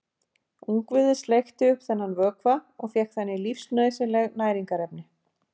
Ungviðið sleikti upp þennan vökva og fékk þannig lífsnauðsynleg næringarefni.